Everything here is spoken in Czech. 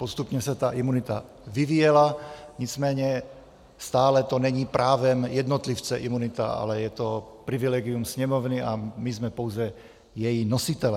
Postupně se ta imunita vyvíjela, nicméně stále to není právem jednotlivce, imunita, ale je to privilegium Sněmovny a my jsme pouze její nositelé.